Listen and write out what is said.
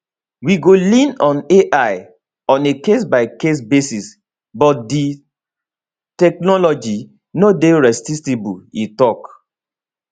we go lean on [ai] on a casebycase basis but di technology no dey resistible e tok